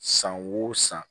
San wo san